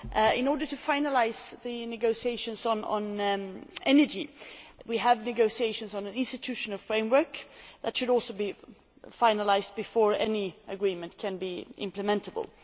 In order to finalise the negotiations on energy, we have negotiations on an institutional framework that should also be finalised before any agreement can be implementable.